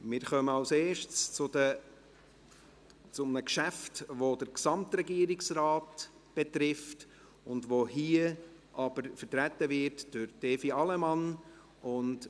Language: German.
Wir kommen zuerst zu einem Geschäft, das den Gesamtregierungsrat betrifft, das hier aber durch Evi Allemann vertreten wird.